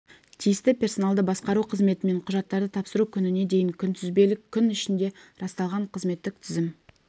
тиісті персоналды басқару қызметімен құжаттарды тапсыру күніне дейін күнтізбелік күн ішінде расталған қызметтік тізім